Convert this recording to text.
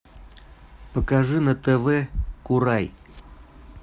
покажи на тв курай